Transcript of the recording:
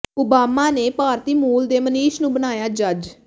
Obama ਨੇ ਭਾਰਤੀ ਮੂਲ ਦੇ ਮਨੀਸ਼ ਨੂੰ ਬਣਾਇਆ ਜੱਜ